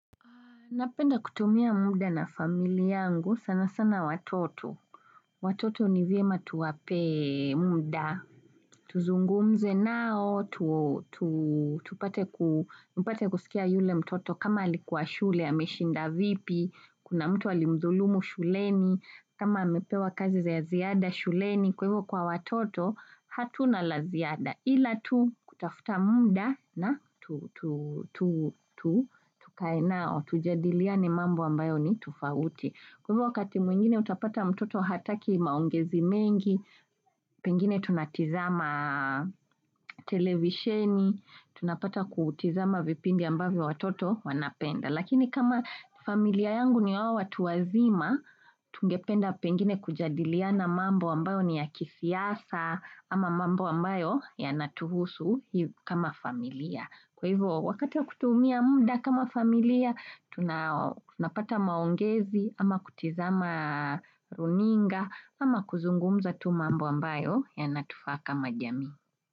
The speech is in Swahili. Napenda kutumia muda na familia yangu sana sana watoto. Watoto ni vyema tuwape muda. Tuzungumze nao, tupate kusikia yule mtoto kama alikuwa shule, ameshinda vipi, kuna mtu alimdhulumu shuleni, kama amepewa kazi za ziada shuleni. Kwa hivyo kwa watoto hatuna la ziada ila tu kutafuta muda na tukae nao, tujadiliane mambo ambayo ni tofauti. Kwa hivyo wakati mwingine utapata mtoto hataki maongezi mengi, pengine tunatazama televisheni, tunapata kutazama vipindi ambayo watoto wanapenda. Lakini kama familia yangu ni hawa watu wazima, tungependa pengine kujadiliana mambo ambayo ni ya kisiasa ama mambo ambayo yanatuhusu kama familia. Kwa hivyo wakati wa kutumia muda kama familia, tunapata maongezi ama kutazama runinga ama kuzungumza tu mambo ambayo ya natufaa kama jamii.